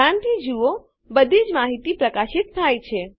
ધ્યાનથી જુઓ બધીજ માહિતી પ્રકાશિત થાય છે